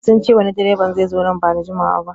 Sun ce wani direban zai zo nan ba da jimawa ba